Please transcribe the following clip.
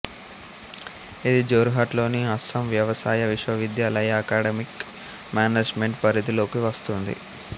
ఇది జోర్హాట్ లోని అస్సాం వ్యవసాయ విశ్వవిద్యాలయ అకాడెమిక్ మేనేజ్మెంట్ పరిధిలోకి వస్తుంది